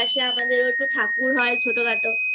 আমাদের ঠাকুর হয় ছোট খাটো